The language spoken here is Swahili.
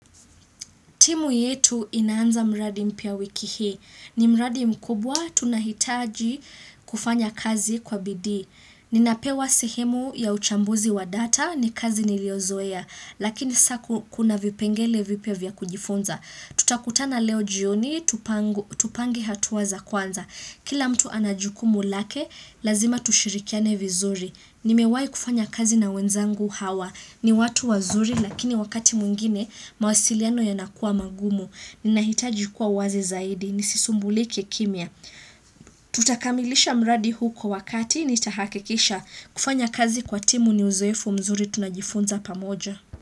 Timu yetu inaanza mradi mpya wiki hii. Ni mradi mkubwa, tunahitaji kufanya kazi kwa bidii. Ninapewa sehemu ya uchambuzi wa data ni kazi niliozoea, lakini sa kuna vipengele vipya vya kujifunza. Tutakutana leo jioni, tupange hatua za kwanza. Kila mtu anajukumu lake, lazima tushirikiane vizuri. Nimewai kufanya kazi na wenzangu hawa. Ni watu wazuri lakini wakati mwingine mawasiliano yanakua magumu. Ninahitaji kuwa wazi zaidi. Nisisumbulike kimya. Tutakamilisha mradi huko wakati nitahakikisha. Kufanya kazi kwa timu ni uzoefu mzuri tunajifunza pamoja.